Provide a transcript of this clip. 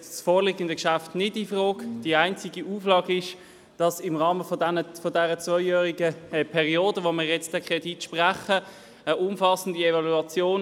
In der Kreditperiode 2019–020 ist eine vergleichende Analyse von Kosten, Nutzen und Sicherheit zwischen der heute gewählten und weiteren auf dem Schweizer Markt erhältlichen E-Voting-Lösungen vorzunehmen.